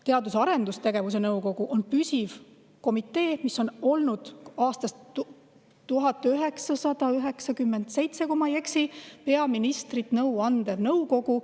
Teadus- ja Arendusnõukogu on püsiv komitee, mis on olnud aastast 1997, kui ma ei eksi, peaministrile nõu andev kogu.